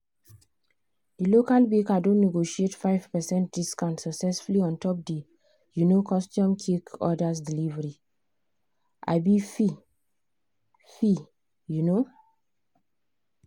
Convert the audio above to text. the local baker don negotiate 5 percent discount successfully ontop the um custom cake order's delivery um fee. fee. um